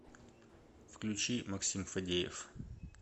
включи максим фадеев